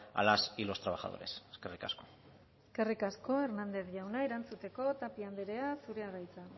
a las y los trabajadores eskerrik asko eskerrik asko hernández jauna erantzuteko tapia andrea zurea da hitza